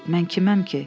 Mən kiməm ki?